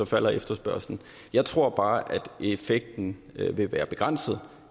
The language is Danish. falder efterspørgslen jeg tror bare at effekten vil være begrænset